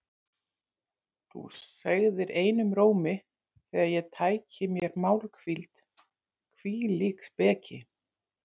Þú segðir einum rómi þegar ég tæki mér málhvíld: Hvílík speki!